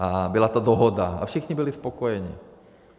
A byla to dohoda a všichni byli spokojeni.